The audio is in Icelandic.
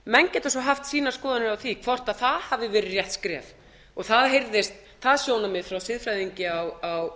geta svo haft sínar skoðanir á því hvort það hafi verið rétt skref og það heyrðist það sjónarmið frá siðfræðingi á